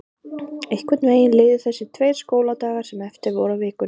Einhvern veginn liðu þessir tveir skóladagar sem eftir voru af vikunni.